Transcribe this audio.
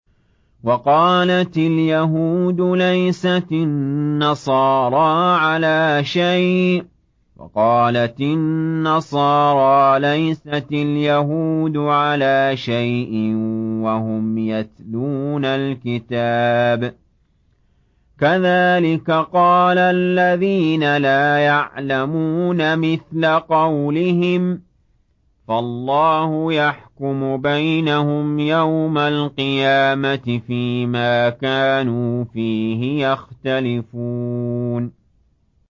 وَقَالَتِ الْيَهُودُ لَيْسَتِ النَّصَارَىٰ عَلَىٰ شَيْءٍ وَقَالَتِ النَّصَارَىٰ لَيْسَتِ الْيَهُودُ عَلَىٰ شَيْءٍ وَهُمْ يَتْلُونَ الْكِتَابَ ۗ كَذَٰلِكَ قَالَ الَّذِينَ لَا يَعْلَمُونَ مِثْلَ قَوْلِهِمْ ۚ فَاللَّهُ يَحْكُمُ بَيْنَهُمْ يَوْمَ الْقِيَامَةِ فِيمَا كَانُوا فِيهِ يَخْتَلِفُونَ